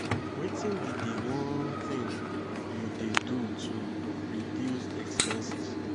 wetin be di one thing you dey do to reduce expenses?